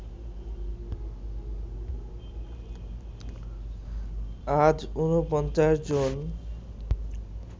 আজ ৪৯ জন